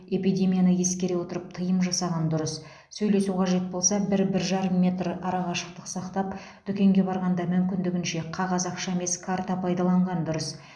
эпидемияны ескере отырып тыйым жасаған дұрыс сөйлесу қажет болса бір бір жарым метр ара қашықтық сақтап дүкенге барғанда мүмкіндігінше қағаз ақша емес карта пайдаланған дұрыс